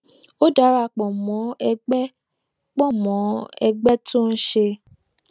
ó dara pò mó ẹgbẹ pò mó ẹgbẹ tó ń ṣe